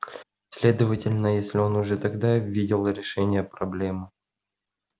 следовательно если он уже тогда видел решение проблемы